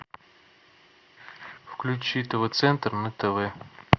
включи тв центр на тв